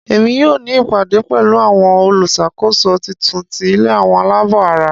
Emi yoo ni ìpàdé pẹ̀lu àwon olúṣàkóso titun ti ilé àwọn aláàbò ara.